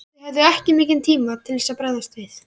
Þið höfðuð ekki mikinn tíma til þess að bregðast við?